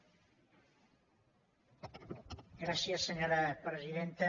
gràcies senyora presidenta